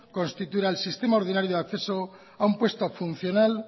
constituirá el sistema ordinario de acceso a un puesto funcional